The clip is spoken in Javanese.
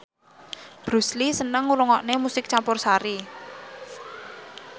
Bruce Lee seneng ngrungokne musik campursari